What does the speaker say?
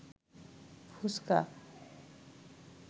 ফুসকা